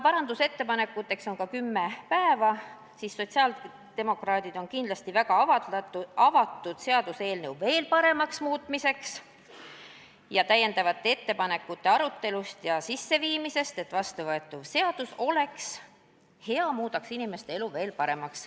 Parandusettepanekute esitamiseks on aega kümme päeva ning sotsiaaldemokraadid on väga avatud selle eelnõu veel paremaks muutmisele, täiendavate ettepanekute arutelule ja nende sisseviimisele, et vastuvõetav seadus saaks hea ja muudaks inimeste elu veel paremaks.